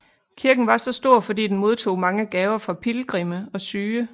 Kirken var så stor fordi den modtog mange gaver fra pilgrimme og syge